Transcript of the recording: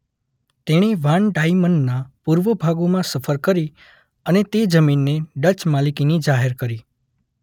તેણી વાન ડાઇમનના પૂર્વ ભાગોમાં સફર કરી અને તે જમીનને ડચ માલિકીની જાહેર કરી.